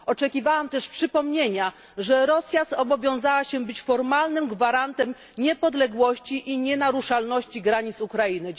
Oczekiwałam też przypomnienia, że Rosja zobowiązała się być formalnym gwarantem niepodległości i nienaruszalności granic Ukrainy.